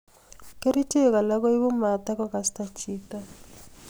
Kerichek alaak koibu matakokasta chito